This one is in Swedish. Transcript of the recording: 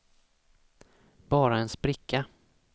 bara en spricka